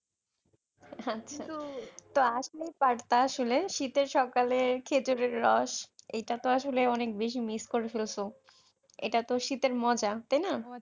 তো আসলেই পারতা আসলে শীতের সকালে খেজুরের রস এটাতো আসলে অনেক বেশি মিস করে ফেলছো এটাতো শীতের মজা তাই না?